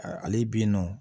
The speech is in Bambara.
Ale bɛ yen nɔ